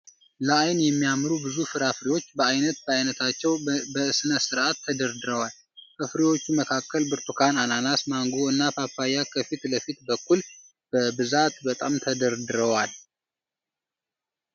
ለአይን የሚያምሩ ብዙ ፍራፍሬዎች በአይነት በአይነታቸው በስነስርአት ተደርድረዋል። ከፍራፍሬዎቹ መካከል ብርቱካን፣ አናናስ፣ ማንጎ እና ፓፓያ ከፊት ለፊት በኩል በብዛት ተደርድረዋል።